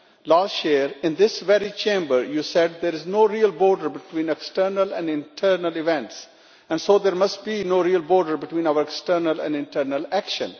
Last year, in this very Chamber, you said there is no real border between external and internal events, and so there must be no real border between our external and internal action.